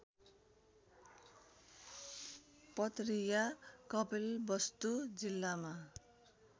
पतरिया कपिलवस्तु जिल्लामा